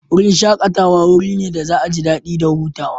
Wurin shakatawa wuri ne da za'a ji dadi da huta.